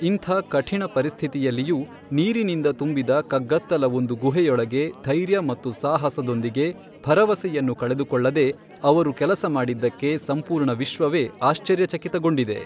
ಇಂಥ ಕಠಿಣ ಪರಿಸ್ಥಿತಿಯಲ್ಲಿಯೂ ನೀರಿನಿಂದ ತುಂಬಿದ ಕಗ್ಗತ್ತಲ ಒಂದು ಗುಹೆಯೊಳಗೆ ಧೈರ್ಯ ಮತ್ತು ಸಾಹಸದೊಂದಿಗೆ ಭರವಸೆಯನ್ನು ಕಳೆದುಕೊಳ್ಳದೇ ಅವರು ಕೆಲಸ ಮಾಡಿದ್ದಕ್ಕೆ ಸಂಪೂರ್ಣ ವಿಶ್ವವೇ ಆಶ್ಚರ್ಯಚಕಿತಗೊಂಡಿದೆ.